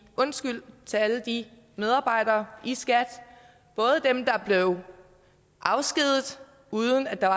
undskyld til alle de medarbejdere i skat både dem der blev afskediget uden at der